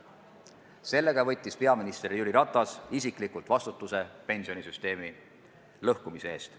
Sellega võttis peaminister Jüri Ratas isiklikult vastutuse pensionisüsteemi lõhkumise eest.